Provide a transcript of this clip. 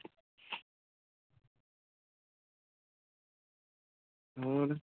ਹੋਰ